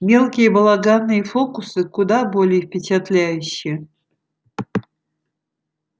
мелкие балаганные фокусы куда более впечатляющи